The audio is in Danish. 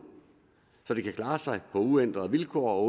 så det kan klare sig på uændrede vilkår og